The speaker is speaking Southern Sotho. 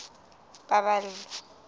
paballo